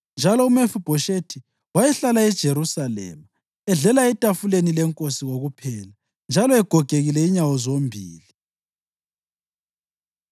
Njalo uMefibhoshethi wayehlala eJerusalema, edlela etafuleni lenkosi kokuphela, njalo egogekile inyawo zombili.